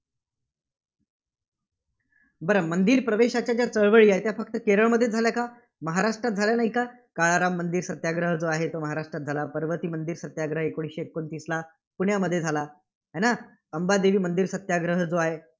बरं मंदिर प्रवेशाच्या ज्या चळवळी आहे त्या फक्त केरळमध्येचं झाल्या कां? महाराष्ट्रात झाल्या नाहीत का? काळाराम मंदिर सत्याग्रह जो आहे, तो महाराष्ट्रात झाला, पर्वती मंदिर सत्याग्रह एकोणीसशे एकोणतीसला पुण्यामध्ये झाला, आहे ना? अंबादेवी मंदिर सत्याग्रह जो आहे.